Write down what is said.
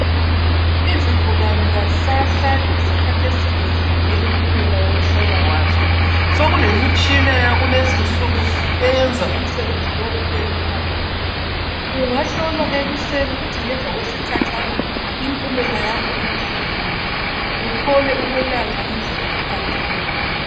Izigulane azisahlali isikhathi eside zilinde impumela yokuhlolwa kwazo, sekulemitshina yakulezi insuku eyenza umsebenzi lo ubelula kakhulu. Ungahlolwa ekuseni kuthi ngemva kwesikhatshana impumela yakho ibisiphumile, uthole ukwelatshwa ngendlela eqondileyo.